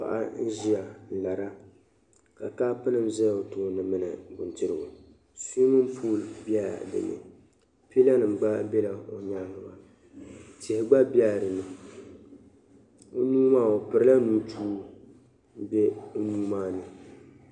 Paɣa n-ʒia n-lara ka kopunima za o tooni mini bindirigu. Suwiimin puuli bela dinni. Pilanima gba bela o nyaaŋga maa tihi gba bela dinni. O nuu maa o pirila nintua.